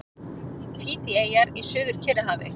Fídjieyjar í Suður-Kyrrahafi.